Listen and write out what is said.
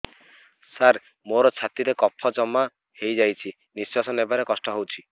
ସାର ମୋର ଛାତି ରେ କଫ ଜମା ହେଇଯାଇଛି ନିଶ୍ୱାସ ନେବାରେ କଷ୍ଟ ହଉଛି